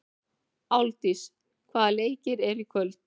Álfdís, hvaða leikir eru í kvöld?